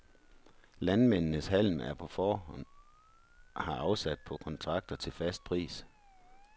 Landmændenes halm er på forhånd har afsat på kontrakter til fast pris.